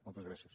moltes gràcies